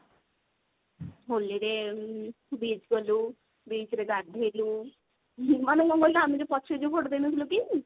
ହୋଲି ରେ ଉଁ beach ଗଲୁ beach ରେ ଗାଧେଇଲୁ ମାନେ କଣ କହିଲ ଆମେ ଯଉ ପଛରେ ଯିବୁ photo ଦେଇନଥିଲୁ କି